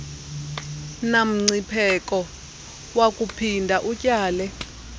namngcipheko wakuphinda utyale